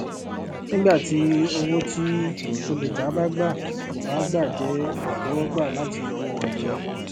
nígbà tí owó tí olùgbà bá gbà kò bá gbà jẹ àtẹwọgbà láti ọwọ olùyọ